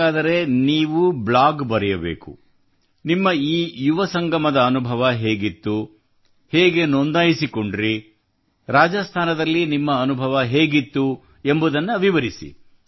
ಹಾಗಾದರೆ ನೀವು ಬ್ಲಾಗ್ ಬರೆಯಬೇಕು ನಿಮ್ಮ ಈ ಯುವ ಸಂಗಮದ ಅನುಭವ ಹೇಗಿತ್ತು ನೀವು ಹೇಗೆ ನೋಂದಾಯಿಸಿಕೊಂಡಿರಿ ರಾಜಸ್ಥಾನದಲ್ಲಿ ನಿಮ್ಮ ಅನುಭವ ಹೇಗಿತ್ತು ಎಂಬುದನ್ನು ವಿವರಿಸಿ